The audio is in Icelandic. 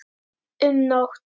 um nótt.